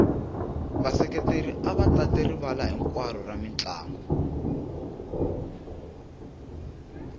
vaseketeri ava tate rivala hinkwaro ra mintlangu